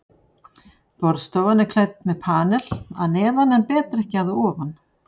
Borðstofan er klædd með panel að neðan en betrekki að ofan.